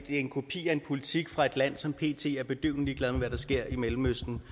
en kopi af en politik fra et land som pt er bedøvende ligeglad med hvad der sker i mellemøsten